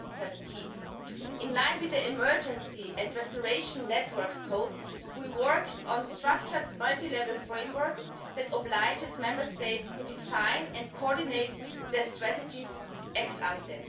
2017. In line with the Emergency and Restoration network code, we worked on structured multilevel frameworks that oblige Member States to define and coordinate their strategies ex ante